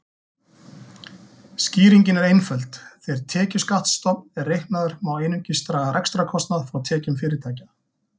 Skýringin er einföld: Þegar tekjuskattsstofn er reiknaður má einungis draga rekstrarkostnað frá tekjum fyrirtækja.